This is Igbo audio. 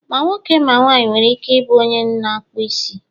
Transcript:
ma nwoke, ma nwanyị nwere ike ị bụ u onye na ịkpụ isi